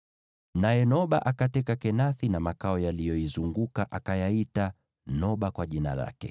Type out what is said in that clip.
Naye Noba akateka Kenathi na makao yaliyoizunguka, akayaita Noba kwa jina lake.